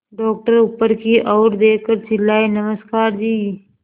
doctor ऊपर की ओर देखकर चिल्लाए नमस्कार जी